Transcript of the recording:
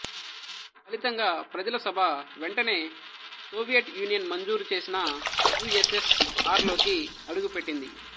ఫలితంగా ప్రజల సభ వెంటనే సోవియట్ యూనియన్ మంజూరు చేసిన యు ఎస్ ఎస్ ఆర్ లోకి అడుగుపెట్టింది